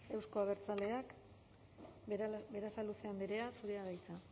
euzko abertzaleak berasaluze andrea zurea da hitza